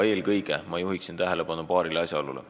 Eelkõige juhin tähelepanu paarile asjaolule.